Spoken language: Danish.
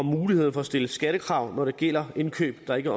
muligheden for at stille skattekrav når det gælder indkøb der ikke